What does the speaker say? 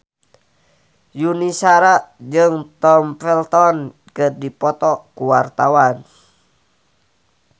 Yuni Shara jeung Tom Felton keur dipoto ku wartawan